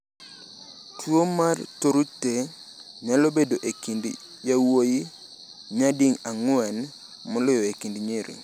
Tuwo mar Tourette nyalo bedo e kind yawuowi nyadi ang’wen moloyo e kind nyiri.